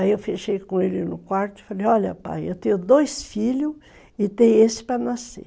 Aí eu fechei com ele no quarto e falei, olha pai, eu tenho dois filhos e tenho esse para nascer.